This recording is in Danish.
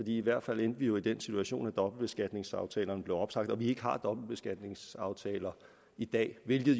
i hvert fald endte vi jo i den situation at dobbeltbeskatningsaftalerne blev opsagt og vi har ikke dobbeltbeskatningsaftaler i dag hvilket